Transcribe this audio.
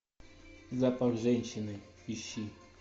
запах женщины ищи